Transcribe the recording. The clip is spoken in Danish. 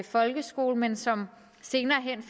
folkeskole men som senere hen